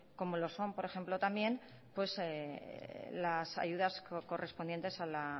como lo son por ejemplo también las ayudas correspondientes a la